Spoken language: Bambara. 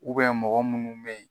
mɔgɔ munnu be yen